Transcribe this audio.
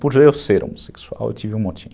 Por eu ser homossexual, eu tive um motim.